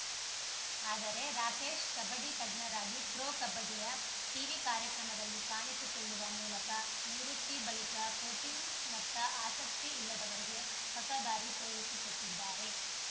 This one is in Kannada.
ಆದರೆ ರಾಕೇಶ್‌ ಕಬಡ್ಡಿ ತಜ್ಞರಾಗಿ ಪ್ರೊ ಕಬಡ್ಡಿಯ ಟೀವಿ ಕಾರ್ಯಕ್ರಮದಲ್ಲಿ ಕಾಣಿಸಿಕೊಳ್ಳುವ ಮೂಲಕ ನಿವೃತ್ತಿ ಬಳಿಕ ಕೋಚಿಂಗ್‌ನತ್ತ ಆಸಕ್ತಿ ಇಲ್ಲದವರಿಗೆ ಹೊಸ ದಾರಿ ತೋರಿಸಿಕೊಟ್ಟಿದ್ದಾರೆ